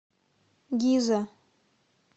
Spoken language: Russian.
гиза